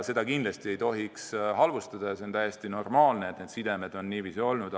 Seda kindlasti ei tohiks halvustada ja see on täiesti normaalne, et need sidemed on nii tugevad olnud.